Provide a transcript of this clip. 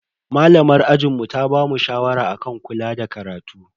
Malamar ajinmu ta bamu shawara akan kula da karatu.